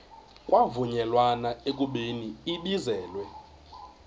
kwavunyelwana ekubeni ibizelwe